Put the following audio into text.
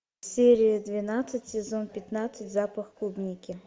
серия двенадцать сезон пятнадцать запах клубники